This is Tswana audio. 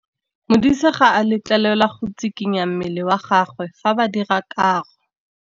Modise ga a letlelelwa go tshikinya mmele wa gagwe fa ba dira karô.